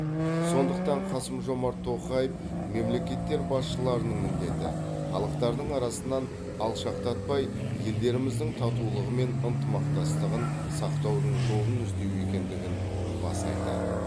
сондықтан қасым жомарт тоқаев мемлекеттер басшыларының міндеті халықтардың арасынан алшақтатпай елдеріміздің татулығы мен ынтымақтастығын сақтаудың жолын іздеу екендігін баса айтады